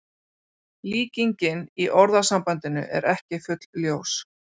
Líkingin í orðasambandinu er ekki fullljós.